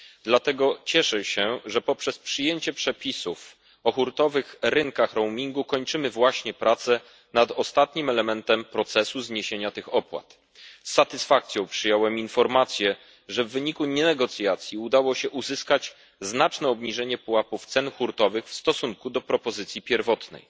Dlatego cieszę się, że poprzez przyjęcie przepisów o hurtowych rynkach roamingu kończymy właśnie prace nad ostatnim elementem procesu zniesienia tych opłat. Z satysfakcją przyjąłem informację, że w wyniku nie negocjacji udało się uzyskać znaczne obniżenie pułapów cen hurtowych w stosunku do propozycji pierwotnej.